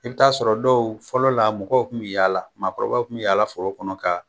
I bi t'a sɔrɔ dɔw fɔlɔ la mɔgɔw kun bi yaala maakɔrɔbaw kun bi yaala foro kɔnɔ kaa